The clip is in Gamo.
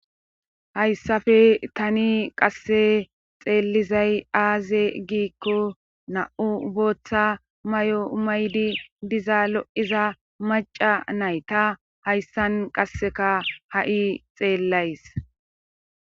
hayssafe tani qasse xeelizay aaze giikko na7u bootha may7o maydi diza lo7iza maca nayta hayssan qasseka ha7i xeellays